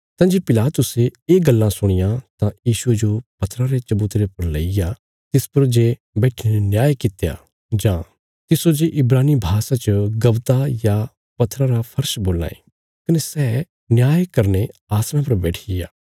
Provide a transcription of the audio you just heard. तंजे पिलातुसे ये गल्लां सुणियां तां यीशुये जो पत्थरा रे चबुतरे पर लईग्या तिस पर जे बैट्ठीने न्याय कित्या जां तिस्सो जे इब्रानी भाषा च गब्बता या पत्थरा रा फर्श बोलां ये कने सै न्याय करने आसणा पर बैठिग्या